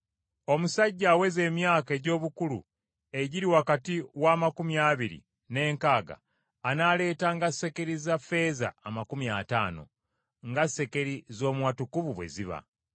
omusajja aweza emyaka egy’obukulu egiri wakati w’amakumi abiri n’enkaaga anaaleetanga sekeri za ffeeza amakumi ataano , nga sekeri z’omu watukuvu bwe ziba,